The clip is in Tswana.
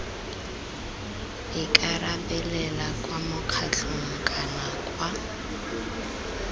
ikarabelela kwa mokgatlhong kana kwa